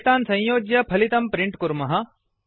एतान् संयोज्य फलितं प्रिण्ट् कुर्मः